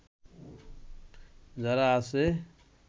যারা আছে